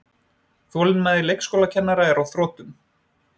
Þolinmæði leikskólakennara er á þrotum